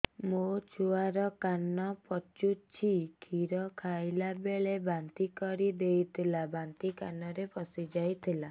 ମୋ ଛୁଆ କାନ ପଚୁଛି କ୍ଷୀର ଖାଇଲାବେଳେ ବାନ୍ତି କରି ଦେଇଥିଲା ବାନ୍ତି କାନରେ ପଶିଯାଇ ଥିଲା